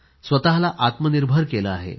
स्वतःला आत्मनिर्भर केले आहे